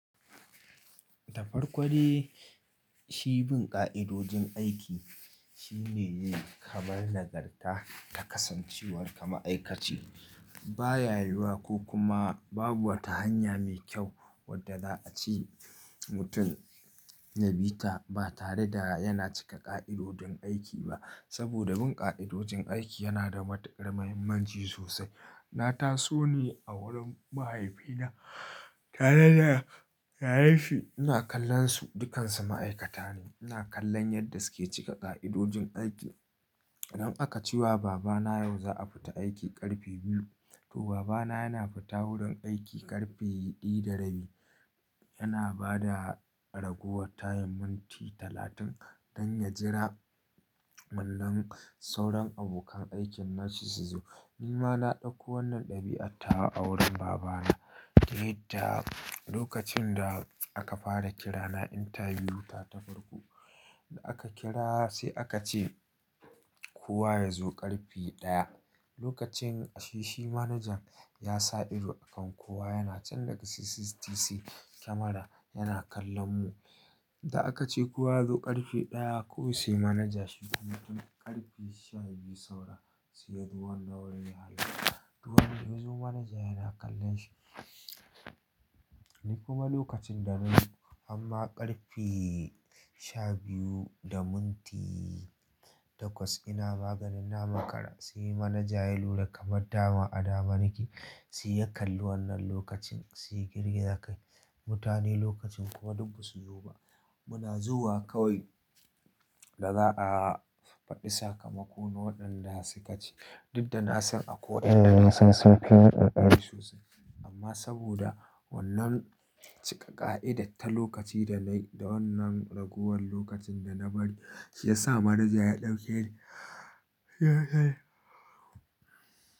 Da farko dai shi bin ƙa'idojin aiki shine yi kamar nagarta ta kasancewar ka ma'aikaci. Ba ya yiwuwa ko kuma babu wata hanya mai kyau wadda za a ci mutum na bi ta ba tare da ya cika ƙa'idojin aiki ba. Saboda bin ƙa'idojin aiki yana da matuƙar muhimmanci sosai. Na taso ne a wurin mahaifina tare da yayansa ina kallon su, dukkansu ma'aikata ne. Ina kallon yadda suke cika ƙa'idojin aiki. Idan aka ce wa baba na yau za a fita aiki ƙarfe biyu, to baba na yana fita wurin aiki ƙarfe ɗaya da rabi. Yana ba da ragowar karin minti talatin don ya jira wannan sauran abokan aikin nashi su zo. Ni ma na ɗauko wannan ɗabi'a tawa a wurin baba na. Yadda lokacin da aka fara kira na interview ta ta farko da aka kira sai aka ce kowa ya zo ƙarfe ɗaya. A lokacin shi manajan ya sa ido a kan kowa yana can daga CCTV kamara yana kallon mu. Da aka ce kowa ya zo ƙarfe ɗaya ko sai manaja shi kuma yazo tun ƙarfe sha biyu saura sai ya zo wannan wurin yayi. To wannan yazo manaja yana kallon shi. Ni kuma lokacin da nayi amma ƙarfe shabiyu da minti takwas ina maganin na makara. Sai manaja ya lura kamar dama a dame nake, sai ya kalli wannan lokacin, sai ya girgiza kai. Mutane lokacin kuwa duk ba su zo ba. Muna zuwa kawai da za a faɗi sakamako na waɗanda suka ci. Duk da na san akwai wayanda na san sunfi ni kokari sosai. Amma saboda wannan cika ƙa'ida ta lokaci da nayi da wannan ragowar lokacin da na bari shi ya sa manaja ya ɗauke ni.